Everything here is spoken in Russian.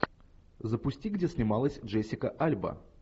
запусти где снималась джессика альба